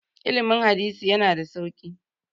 ilimin hadisi yana da sauki